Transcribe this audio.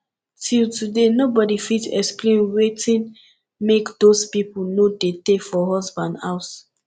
till today nobody fit explain wetin make doz people no dey tay for husband house